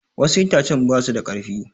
Wassu itacen basu da karfi